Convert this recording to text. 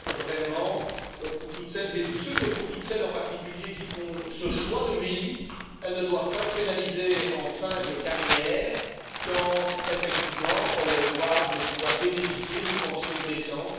Je pense vraiment que toutes celles et tous ceux, mais toutes celles, en particulier, qui font ce choix de vie ne doivent pas être pénalisées en fin de carrière quand, effectivement, elles doivent pouvoir bénéficier d'une pension décente.